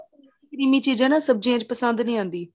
creme ਚੀਜ਼ਾਂ ਸਬਜੀਆਂ ਚ ਪਸੰਦ ਨਹੀਂ ਆਦੀ